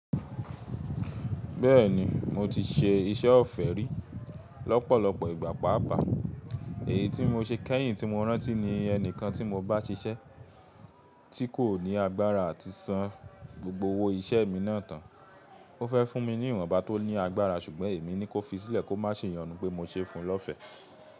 Bẹ́ẹ̀ni mo ti ṣe iṣẹ́ ọ̀fẹ́ rí lọ́pọ̀lọpọ̀ ìgbà paapaa, èyí tí mo ṣe kẹ́yìn tí mo rántí ní ẹni kan tí mo bá ṣiṣẹ́ tí kò ní agbára ati san an gbogbo owó iṣẹ́ mi náà tán. Ó fẹ́ fún mi ní ìwọ̀nba tó ní agbára ṣùgbọ́n èmi ní kó fi sílẹ̀ kó má ṣe yonu pé mo ṣe fún un lọ́fẹ̀